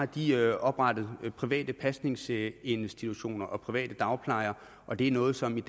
de har oprettet private pasningsinstitutioner og private dagplejer og det er noget som